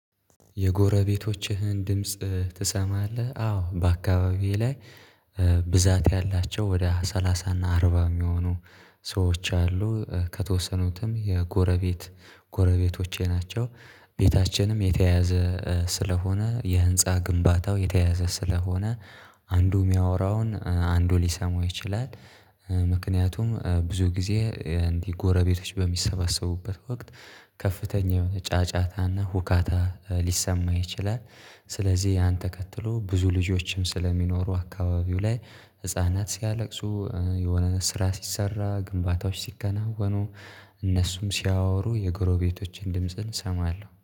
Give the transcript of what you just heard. የጎረቤቶችህን ድምጽ ትሰማለህ አዎ በአካባቢዬ ላይ ብዛት ያላቸው ወደ ሰላሳ እና አርባ የሚሆኑ ሰዎች አሉ ከተወሰኑትም የጎረቤት ጎረቤቶቼ ናቸው። ቤታችንም የተተያዘ ስለሆነ የህንፃ ግንባታው የተያዘ ስለሆነ አንዱ የሚያወራውን አንዱ ሊሰማው ይችላል። ምክንያቱም ብዙ ጊዜ እንዲህ ጎረቤቶች በሚሰበሰቡበት ወቅት ከፍተኛ የሆነ ጫጫታና ሁካታ ሊሰማ ይችላል። ስለዚህ ያን ተከትሎ ብዙ ልጆችም ስለሚኖሩ አካባቢው ላይ ህፃናት ሲያለቅሱ የሆነ ስራ ሲሰራ ግንባታዎች ሲከናወኑ እነሱም ሲያወሩ የጎረቤቶቼን ድምጽን እሰማለሁ